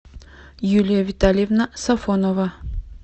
юлия витальевна сафонова